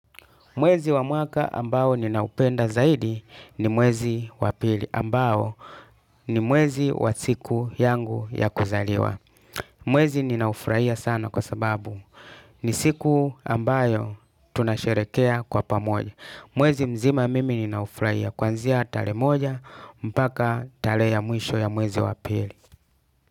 Mwezi wa mwaka ambayo ninaupenda zaidi ni mwezi wa pili ambayo ni mwezi wa siku yangu ya kuzaliwa. Mwezi ninaufurahia sana kwa sababu ni siku ambayo tunasherekea kwa pamoja. Mwezi mzima mimi ninaufurahia kuanzia tarehe moja mpaka tarehe ya mwisho ya mwezi wa pili.